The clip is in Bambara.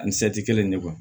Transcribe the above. Ani kelen de